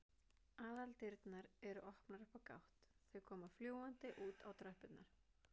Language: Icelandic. Aðaldyrnar eru opnar upp á gátt, þau koma fljúgandi út á tröppurnar.